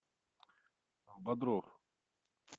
бодров